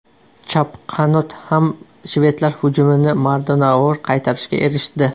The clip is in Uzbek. Chap qanot ham shvedlar hujumini mardonavor qaytarishga erishdi.